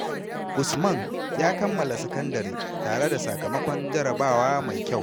Usman ya kammala sakandare tare da sakamakon jarrabawa mai kyau sosai.